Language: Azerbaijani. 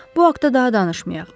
Bu haqda daha danışmayaq.